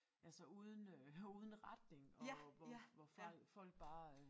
Altså uden øh uden retning og hvor hvor folk bare